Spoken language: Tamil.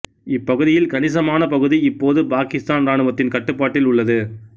இப்பகுதியில் கணிசமான பகுதி இப்போது பாக்கித்தான் இராணுவத்தின் கட்டுப்பாட்டில் உள்ளது